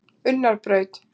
Unnarbraut